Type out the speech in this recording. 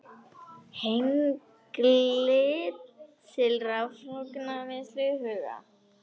Hengli til raforkuvinnslu í huga.